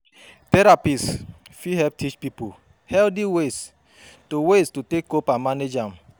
Therapists fit help teach pipo healthy ways to ways to take cope and manage am